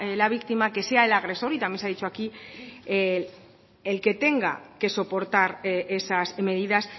la víctima que sea el agresor y también se ha dicho aquí el que tenga que soportar esas medidas